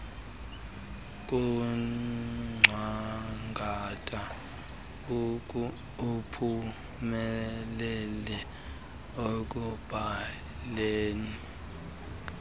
kungcangata uphumeieie ekubhaleni